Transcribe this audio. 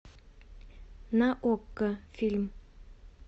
на окко фильм